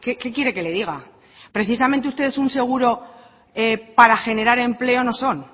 qué quiere que le diga precisamente ustedes un seguro para generar empleo no son